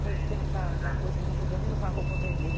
Foi no tempo da da coisa que eu não podia nem usar roupa vermelha.